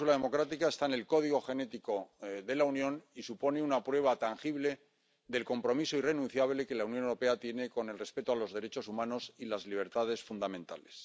Esta cláusula democrática está en el código genético de la Unión y supone una prueba tangible del compromiso irrenunciable que la Unión Europea tiene con el respeto de los derechos humanos y las libertades fundamentales.